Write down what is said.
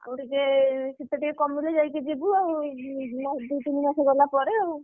ଆଉଟେ ଯେ ଶୀତ ଟିକେ କମିଲେ ଯାଇକି ଯିବୁ ଆଉ ଦି ତିନି ମାସ ଗଲା ପରେ ଆଉ